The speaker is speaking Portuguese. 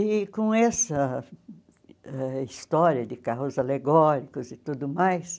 E com essa ãh história de carros alegóricos e tudo mais,